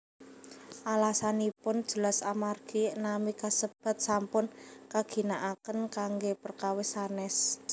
Alasanipun jelas amargi nami kasebat sampun kaginaaken kanggé perkawis sanès